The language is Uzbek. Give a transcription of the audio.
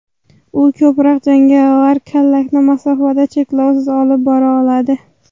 U ko‘proq jangovar kallakni masofada cheklovsiz olib bora oladi.